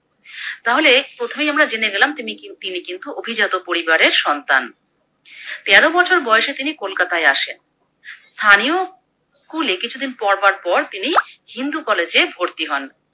তাহলে প্রথমেই আমরা জেনে গেলাম তিনি কিন্ তিনি কিন্তু অভিজাত পরিবারের সন্তান। তেরো বছর বয়সে তিনি কলকাতায় আসেন। স্থানীয় School এ কিছুদিন পড়বার পর তিনি হিন্দু কলেজে ভর্তি হন।